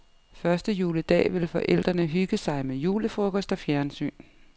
Første juledag vil forældrene hygge sig med julefrokost og fjernsyn.